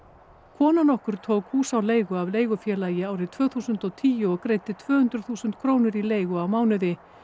kona nokkur tók hús á leigu af leigufélagi árið tvö þúsund og tíu og greiddi tvö hundruð þúsund krónur í leigu á mánuði